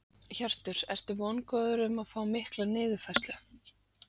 Hjörtur: Ertu vongóður um að fá mikla niðurfærslu?